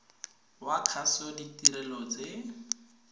wa kgaso ditirelo tse